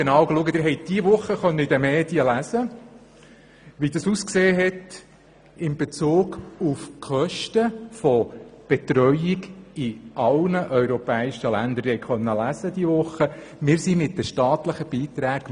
Diese Woche haben Sie in den Medien lesen können, dass wir mit den staatlichen Beiträgen für die Betreuungskosten im europäischen Ländervergleich am Schluss liegen.